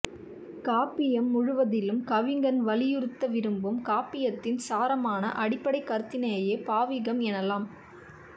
காப்பியம் முழுவதிலும் கவிஞன் வலியுறுத்த விரும்பும் காப்பியத்தின் சாரமான அடிப்படைக் கருத்தினையே பாவிகம் எனலாம்